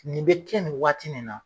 Nin bɛ kɛ nin waati nin na.